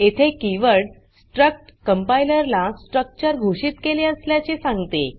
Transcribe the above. येथे keyword struct compiler ला structure घोषित केले असल्याचे सांगते